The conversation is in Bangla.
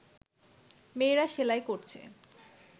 মেয়েরা সেলাই করছে